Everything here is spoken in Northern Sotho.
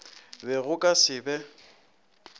be go ka se be